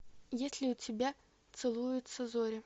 есть ли у тебя целуются зори